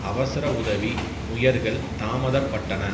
அவசர உதவி முயற்கள் தாமதப்பட்டன